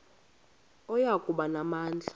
oya kuba namandla